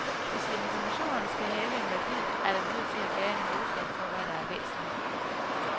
Hvis informationer skal have en værdi, er der nødt til at være en målestok for, hvad der er væsentligt.